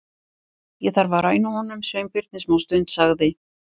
Ég þarf að ræna honum Sveinbirni smástund- sagði